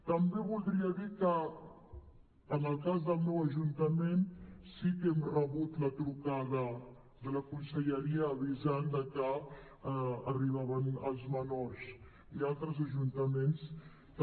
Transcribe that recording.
també voldria dir que en el cas del meu ajuntament sí que hem rebut la trucada de la conselleria avisant de que arribaven els menors i a altres ajuntaments també